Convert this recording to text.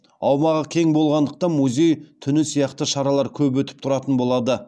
аумағы кең болғандықтан музей түні сияқты шаралар көп өтіп тұратын болады